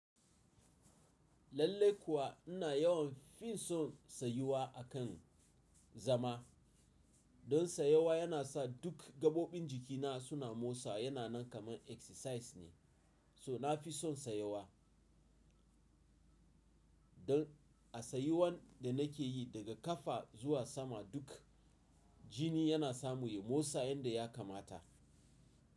Lallai kuwa ina yawan fin son sayuwa akan zama. Don sayawa yana sa duk gaɓoɓin jikina suna motsa yana nan kamar exercise ne. So na fi son sayawa. Don a sayuwan da nake yi daga ƙafa zuwa sama duk jini yana samun motsa yadda ya kamata.